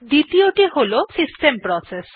দ্বিতীযটি হল system process